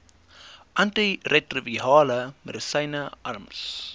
antiretrovirale medisyne arms